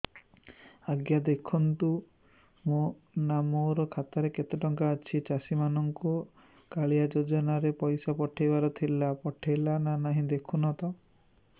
ଆଜ୍ଞା ଦେଖୁନ ନା ମୋର ଖାତାରେ କେତେ ଟଙ୍କା ଅଛି ଚାଷୀ ମାନଙ୍କୁ କାଳିଆ ଯୁଜୁନା ରେ ପଇସା ପଠେଇବାର ଥିଲା ପଠେଇଲା ନା ନାଇଁ ଦେଖୁନ ତ